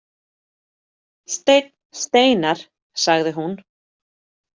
Steinn Steinarr, sagði hún.